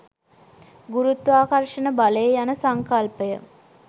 ගුරුත්වාකර්ෂණ බලය යන සංකල්පය